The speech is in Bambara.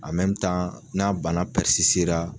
n'a bana ra.